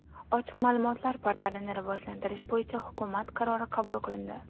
Ochiq ma’lumotlar portalini rivojlantirish bo‘yicha hukumat qarori qabul qilindi.